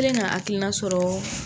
N k'len ka hakilina sɔrɔ